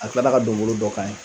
A kila ka donnbolo dɔ k'an ye.